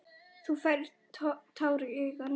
Þú færð tár í augun.